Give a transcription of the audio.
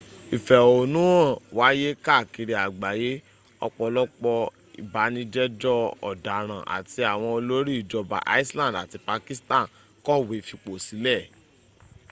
ìfẹ̀hónúhàn wáyé káàkiri àgbáyé ọ̀pọ̀lọpọ̀ ìbánijẹ́jọ́ ọ̀daràn áti àwọn òlórí ìjọba iceland àti pakistan kọ̀wé fìposílè